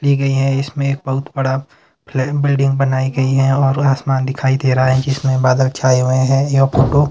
दी गई है। इसमें बहुत बड़ा फ्ले बिल्डिंग बनाई गई है और आसमान दिखाई दे रहा है जिसमें बादल छाए हुए हैं यह फोटो --